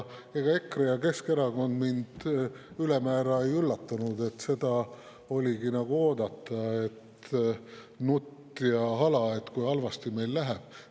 Ega EKRE ja Keskerakond mind ülemäära ei üllatanud, seda oligi oodata, et nutt ja hala, kui halvasti meil läheb.